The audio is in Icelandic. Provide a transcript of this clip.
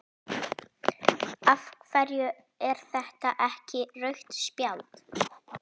af hverju er þetta ekki rautt spjald?